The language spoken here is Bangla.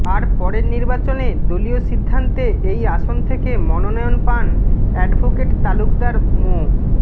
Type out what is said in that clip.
আর পরের নির্বাচনে দলীয় সিদ্ধান্তে এই আসন থেকে মনোনয়ন পান অ্যাডভোকেট তালুকদার মো